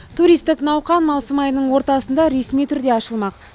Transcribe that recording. туристік науқан маусым айының ортасында ресми түрде ашылмақ